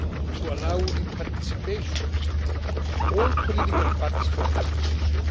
to allow the participation of all political parties from the opposition.